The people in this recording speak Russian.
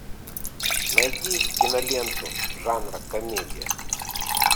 найди киноленту жанра комедия